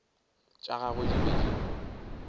tša gagwe di be di